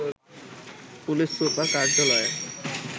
police super কার্যালয়ের